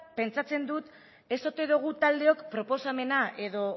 pentsatzen dut ez ote dugun taldeok proposamena edo